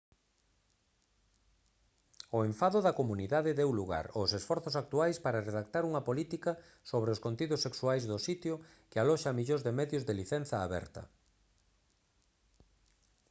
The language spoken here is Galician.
o enfado da comunidade deu lugar aos esforzos actuais para redactar unha política sobre os contidos sexuais do sitio que aloxa millóns de medios de licenza aberta